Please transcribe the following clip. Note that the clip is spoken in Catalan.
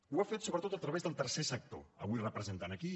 ho ha fet sobretot a través del tercer sector avui representat aquí